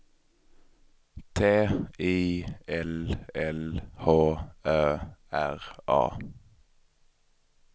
T I L L H Ö R A